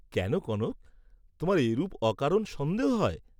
কেন কনক, তােমার এরূপ অকারণ সন্দেহ হয়?